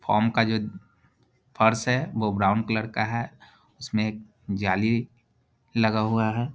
Foam का जो फर्स है वो ब्राउन कलर का है इसमें एक जाली लगा हुआ है।